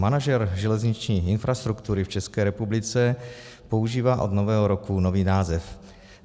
Manažer železniční infrastruktury v České republice používá od nového roku nový název.